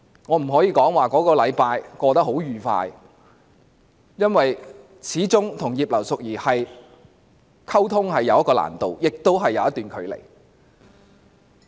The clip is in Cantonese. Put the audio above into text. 我不能說這一星期過得很愉快，因為我與葉劉淑儀議員溝通始終有一定的難度，亦有一段距離。